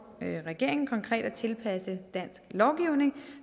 regeringen konkret at tilpasse dansk lovgivning